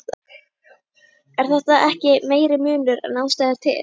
Er þetta ekki meiri munur en ástæða er til?